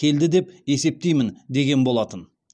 келді деп есептеймін деген болатын